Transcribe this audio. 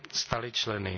stali členy.